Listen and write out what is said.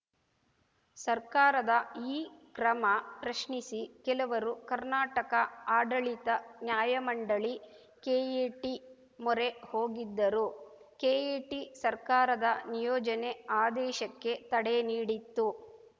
ಸರ್ಕಾರದ ಈ ಕ್ರಮ ಪ್ರಶ್ನಿಸಿ ಕೆಲವರು ಕರ್ನಾಟಕ ಆಡಳಿತ ನ್ಯಾಯಮಂಡಳಿ ಕೆಎಟಿ ಮೊರೆ ಹೋಗಿದ್ದರು ಕೆಎಟಿ ಸರ್ಕಾರದ ನಿಯೋಜನೆ ಆದೇಶಕ್ಕೆ ತಡೆ ನೀಡಿತ್ತು